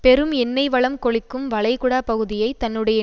பெரும் எண்ணெய் வளம் கொழிக்கும் வளைகுடா பகுதியை தன்னுடைய